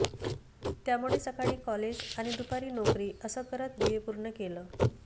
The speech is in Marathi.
त्यामुळे सकाळी कॉलेज आणि दुपारी नोकरी असं करत बीए पूर्ण केलं